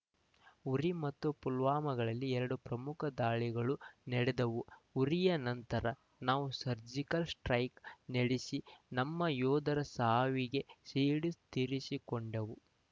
ಉರಿ ಮತ್ತು ಪುಲ್ವಾಮಾಗಳಲ್ಲಿ ಎರಡು ಪ್ರಮುಖ ದಾಳಿಗಳು ನಡೆದವು ಉರಿಯ ನಂತರ ನಾವು ಸರ್ಜಿಕಲ್ ಸ್ಟ್ರೈಕ್ ನಡೆಸಿ ನಮ್ಮ ಯೋಧರ ಸಾವಿಗೆ ಸೇಡು ತೀರಿಸಿಕೊಂಡವು